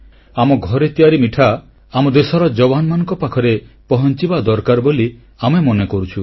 ଆମ ଘରେ ତିଆରି ମିଠା ଆମ ଦେଶର ଯବାନମାନଙ୍କ ପାଖରେ ପହଂଚିବା ଦରକାର ବୋଲି ଆମେ ମନେକରୁଛୁ